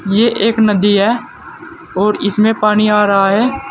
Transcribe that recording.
ये एक नदी है और इसमें पानी आ रहा है।